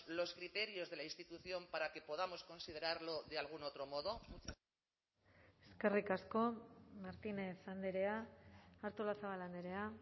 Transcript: los criterios de la institución para que podamos considerarlo de algún otro modo eskerrik asko martínez andrea artolazabal andrea